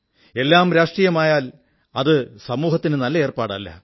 എല്ലാം രാഷ്ട്രീയമായാൽ അത് സമൂഹത്തിന് നല്ല ഏർപ്പാടല്ല